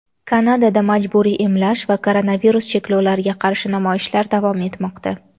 Kanadada majburiy emlash va koronavirus cheklovlariga qarshi namoyishlar davom etmoqda.